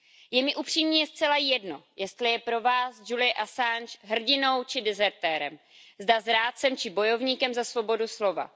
Je mi upřímně zcela jedno, jestli je pro vás Julian Assange hrdinou či dezertérem, zda zrádcem či bojovníkem za svobodu slova.